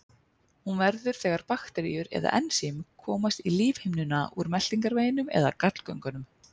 hún verður þegar bakteríur eða ensím komast í lífhimnuna úr meltingarveginum eða gallgöngunum